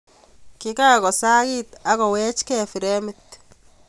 Kikakosakiit ak koweechkei fremit.